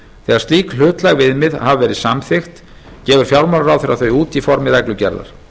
þegar slík hlutlæg viðmið hafa verið samþykkt gefur fjármálaráðherra þau út í formi reglugerðar